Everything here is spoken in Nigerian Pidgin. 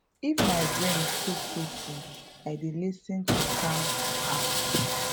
if my brain too too full i dey lis ten to calm app